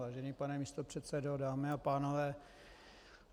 Vážený pane místopředsedo, dámy a pánové.